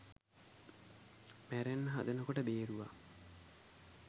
මැරෙන්න හදන කොට බේරුවා.